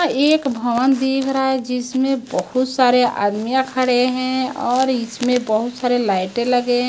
एक भवन दिख रहा है जिसमें बहोत सारे आदमीया खड़े है और इसमें बहोत सारे लाइटें लगे --